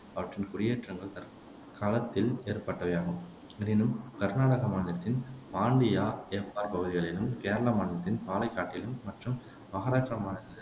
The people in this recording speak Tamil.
அவற்றிலான குடியேற்றங்கள் தற்காலத்தில் ஏற்பட்டவையாகும் எனினும் கருநாடக மாநிலத்தின் பாண்டியா, எப்பார் பகுதிகளிலும், கேரள மாநிலத்தின் பாலக்காட்டிலும் மற்றும் மகாராஷ்டிரா மாநில